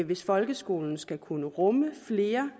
hvis folkeskolen skal kunne rumme flere